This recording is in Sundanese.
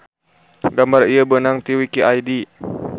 Gambar ieu beunang ti wiki id.